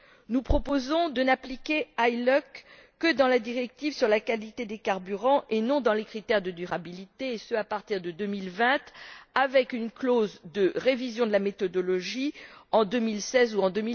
Nous proposons de n'appliquer l'ILUC CASI que dans la directive sur la qualité des carburants et non dans les critères de durabilité, et ce à partir de 2020, avec une clause de révision de la méthodologie en 2016 ou en